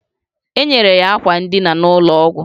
Enyere ya akwa ndịna n'ụlọ ọgwụ